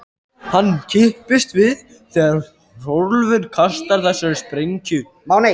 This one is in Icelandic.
Hann kippist við þegar Hrólfur kastar þessari sprengju.